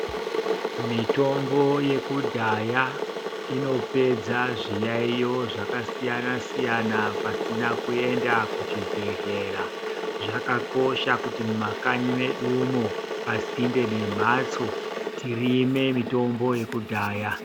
Mitombo yekudhaya, ino pedza zviyaiyo zvaka siyana siyana pasina kuenda kuchibhedhlera. Zvaka kosha kuti muma kanyi medumo, pasinde nemhatso tirime mitombo yekudhaya.